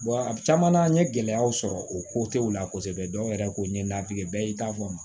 a caman na n ye gɛlɛyaw sɔrɔ o ko tɛ u la kosɛbɛ dɔw yɛrɛ ko n'i ye ladege bɛɛ y'i ta fɔ